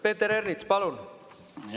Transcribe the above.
Peeter Ernits, palun!